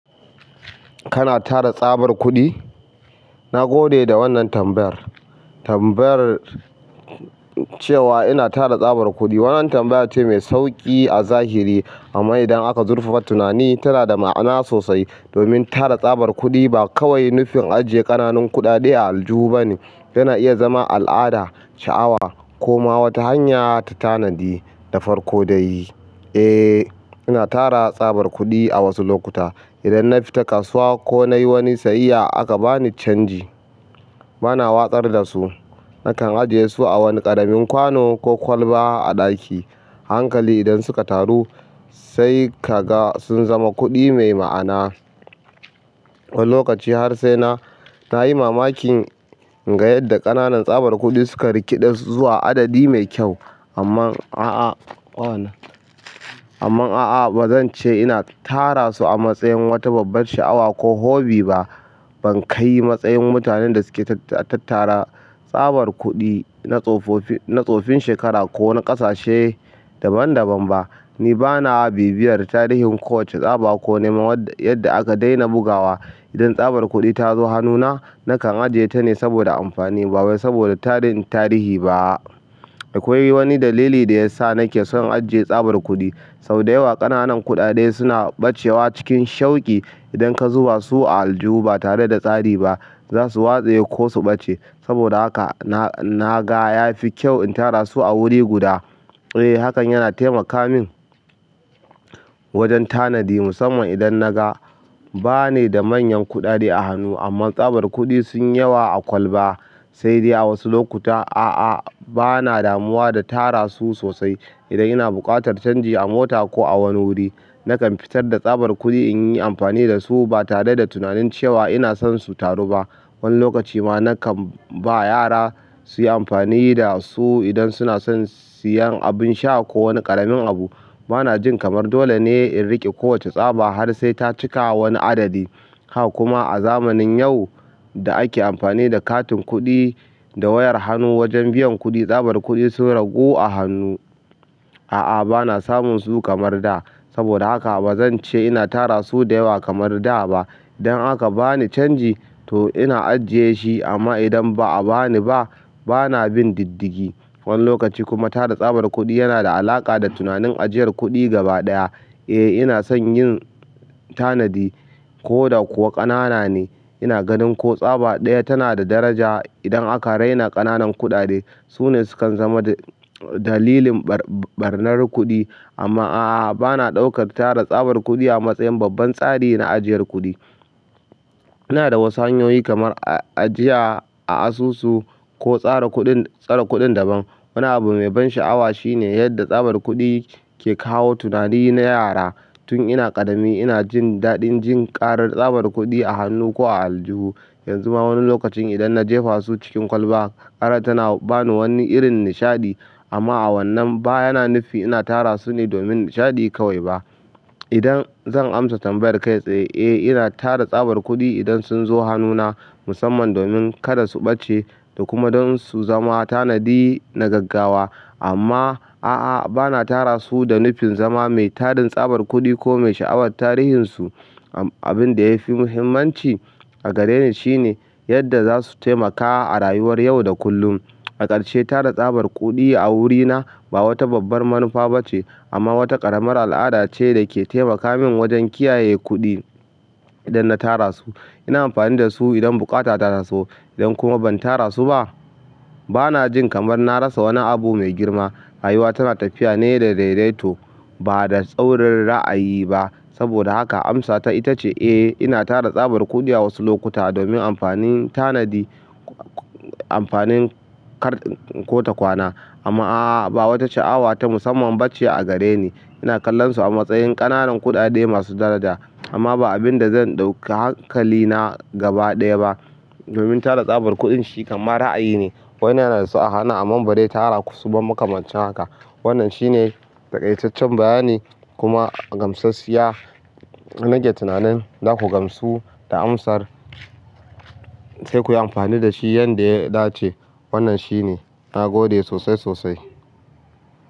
Kana tara tsabar kuɗi? Na gode da wannan tambayar. Tambayar cewa ina tara tsabar kuɗi. Wannan tambaya ce mai sauƙi a zahiri amma idan aka zurfafa tunani tana da ma'ana sosai. Domin tara tsabar kuɗi ba kawai nufin ajiye ƙananan kuɗaɗe a aljihu ba ne. Yana iya zama al'ada, sha'awa ko ma wata hanya ta tanadi da farko dai eh, ina tara tsabar kuɗi a wasu lokuta. Idan na fita kasuwa ko na yi wani sayayya aka bani canji, bana watsar da su. Nakan ajiye su a wani ƙaramin kwano ko kwalba a ɗaki. A hankali idan suka taru sai ka ga sun zama kuɗi mai ma'ana. Wani lokaci har sai na, na yi mamakin inga yadda ƙananan tsabar kuɗi suka rikiɗe su zuwa adadi mai kyau. Amma a'a, waye wannan amman a'a bazance ina tarasu a matsayin wata babbar sha'awa ko hubby ba ban kai matsayin mutanen da suke tattara tsabar kuɗi na tsofofi, na tsofin shekara ko na ƙasashe daban daban ba. Ni bana bibiyar tarihin kowace tsaba ko neman yadda aka daina bugawa. Idan tsabar kuɗi tazo hannuna nakan ajiyeta ne saboda amfani ba wai saboda sanin tarihi ba akwai wani dalili da ya sa nake son ajiye tsabar kuɗi. Sau da yawa ƙananan kuɗaɗe suna ɓacewa cikin shauƙi idan ka zuba su a aljihu ba tare da tsari ba. Za su watsaye ko su ɓace. Saboda haka na, na ga ya fi kyau in tara su a wuri guda. Eh hakan yana taimaka min wajen tanadi musamman idan na ga ba ni da manyan kuɗaɗe a hannu amma tsabar kuɗi sun yi yawa a kwalba. Sai dai a wasu lokuta a'a bana damuwa da tara su sosai. Idan ina buƙatar canji a mota ko a wani wuri nakan fitar da tsabar kuɗi in yi amfani da su ba tare da tunanin cewa ina son su taru ba. Wani lokacin ma nakan ba yara su yi amfani da su idan suna son siyan abin sha ko wani ƙaramin abu. Bana jin kamar dole ne in riƙe kowace tsaba har sai ta cika wani adadi. Haka kuma a zamanin yau da ake amfani da katin kuɗi da wayar hannu wajen biyan kuɗi, tsabar kuɗi sun ragu a hannu. A'a bana samun su kamar da. Saboda haka ba zan ce ina tara su da yawa kamar da ba. Idan aka bani canji to ina ajiyeshi amma idan ba a bani ba bana bin diddigi. Wani lokaci kuma tara tsabar kuɗi yana da alaƙa da tunanin ajiyar kuɗi gaba ɗaya. Eh ina son yin tanadi ko da kuwa ƙanana ne. Ina ganin ko tsaba ɗaya tana da daraja. Idan aka raina ƙananan kuɗaɗe su ne sukan zama da dalilin ɓar ɓarnar kuɗi. Amma a'a bana ɗaukar tara tsabar kuɗi a matsayin babban tsari na ajiyar kuɗi. Ina da wasu hanyoyi kamar ajiya a asusu ko tsara kuɗin, tsara kuɗin daban. Wani abu mai ban sha'awa shine yadda tsabar kuɗi ke kawo tunani na yara. Tun ina ƙarami ina jin daɗin jin karar tsabar kuɗi a hannu ko a aljihu. Yanzu ma wani lokacin idan na jefa su cikin kwalba, ƙara tana ba ni wani irin nishaɗi. Amma a wannan ba yana nufi ina tara su ne domin nishaɗi kawai ba. Idan zan amsa tambayar kai tsaye, eh ina tara tsabar kuɗi idan sun zo hannuna musamman domin kada su ɓace da kuma don su zama tanadi na gaggawa. Amma a'a bana tara su da nufin zama mai tarin tsabar kuɗi ko mai sha'awar tarihinsu. Abin da ya fi muhimmanci a gare ni shine yadda za su taimaka a rayuwar yau da kullum. A ƙarshe tara tsabar kuɗi a wurina ba wata babbar manufa bace amma wata ƙaramar al'ada ce dake taimaka min wajen kiyaye kuɗi idan na tarasu ina amfani dasu idan buƙata ta taso idan kuma ban tara su ba bana jin kamar na rasa wani abu me girma. Rayuwa tana tafiya ne da dai dai to ba da tsaurin ra'ayi ba. Saboda haka amsata ita ce eh ina tara tsabar kuɗi a wasu lokuta domin amfanin tanadi, amfanin kar ko ta kwana. Amma a'a ba wata sha'awa ta musamman ba ce a gare ni. Ina kallonsu a matsayin ƙananan kuɗaɗe masu daraja amma ba abin da zan ɗauka hankalina gaba ɗaya ba. Domin tara tsabar kuɗin shi kamar ra'ayi ne. Wani yana da su a hannu amma ba dai tara su ba makamancin haka. Wannan shi ne taƙaitaccen bayani kuma gamsashiya. Nake tunanin za ku gamsu da amsar sai kuyi amfani da shi yanda ya dace. Wannan shine. Nagode sosai sosai.